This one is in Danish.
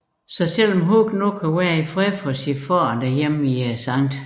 Så selv om Huck nu kan være i fred for sin far hjemme i St